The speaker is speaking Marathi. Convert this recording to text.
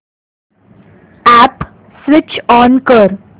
अॅप स्विच ऑन कर